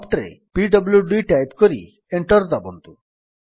prompt ରେ PWD type କରି enter ଦାବନ୍ତୁ